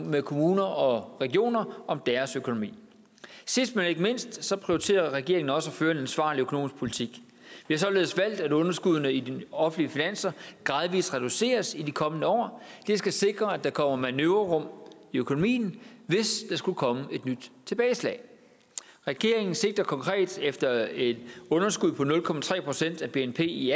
med kommuner og regioner om deres økonomi sidst men ikke mindst prioriterer regeringen også at føre en ansvarlig økonomisk politik vi har således valgt at underskuddene i de offentlige finanser gradvis reduceres i de kommende år det skal sikre at der kommer manøvrerum i økonomien hvis der skulle komme et nyt tilbageslag regeringen sigter konkret efter et underskud på nul procent af bnp i